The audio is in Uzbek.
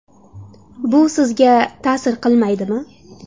Bu sizga ta’sir qilmaydimi?